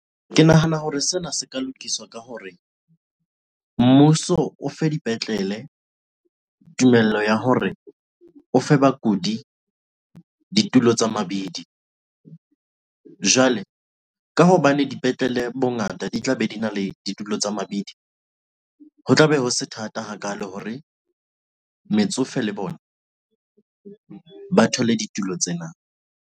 Ke nahana hore sena se ka lokiswa ka hore mmuso o fe dipetlele tumello ya hore o fe bakudi ditulo tsa mabidi jwale ka hobane dipetlele bongata di tla be di na le ditulo tsa mabidi, ho tla be ho se thata hakalo hore metsofe le bona ba thole ditulo tsena.